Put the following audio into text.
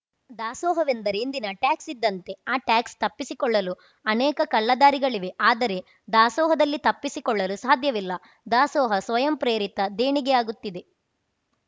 ದಾಸೋಹವೆಂದರೆ ಇಂದಿನ ಟ್ಯಾಕ್ಸ್‌ ಇದ್ದಂತೆ ಆ ಟ್ಯಾಕ್ಸ್‌ ತಪ್ಪಿಸಿಕೊಳ್ಳಲು ಅನೇಕ ಕಳ್ಳದಾರಿಗಳಿವೆ ಆದರೆ ದಾಸೋಹದಲ್ಲಿ ತಪ್ಪಿಸಿಕೊಳ್ಳಲು ಸಾಧ್ಯವಿಲ್ಲ ದಾಸೋಹ ಸ್ವಯಂ ಪ್ರೇರಿತ ದೇಣಿಗೆಯಾಗುತ್ತಿದೆ